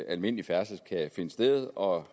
almindelig færdsel kan finde sted og